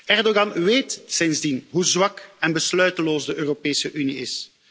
Erdogan weet sindsdien hoe zwak en besluiteloos de Europese Unie is.